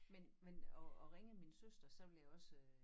Men men og og ringede min søster så ville jeg også øh